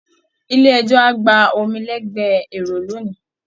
Ilé ẹjọ́ á gba omi lẹgbẹ èrò lónìí